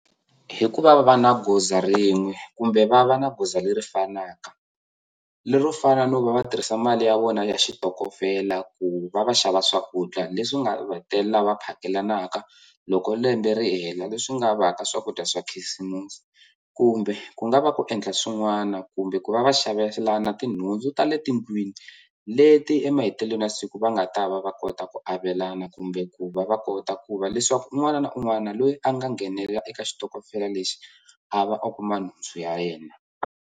Hikuva va va na goza rin'we kumbe va va na goza leri fanaka lero fana no va va tirhisa mali ya vona ya xitokofela ku va va xava swakudya leswi nga va hetelela va phakelanaka loko lembe ri hela leswi nga va ka swakudya swa khisimusi kumbe ku nga va ku endla swin'wana kumbe ku va va xavelana tinhundzu ta le tindlwini leti emahetelelweni ya siku va nga ta va va kota ku avelana kumbe ku va va kota ku va leswaku un'wana na un'wana loyi a nga nghenelela eka xitokofela lexi a va a kuma nhundzu ya yena.